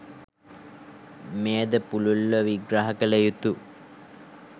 මෙයද පුළුල්ව විග්‍රහ කළ යුතු